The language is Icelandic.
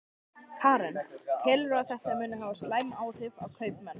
Karen: Telurðu að þetta muni hafa slæm áhrif á kaupmenn?